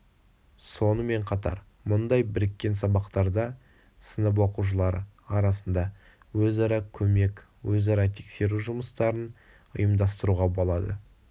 сонымен қатар мұндай біріккен сабақтарда сынып оқушылары арасында өзара көмек өзара тексеру жұмыстарын ұйымдастыруға болады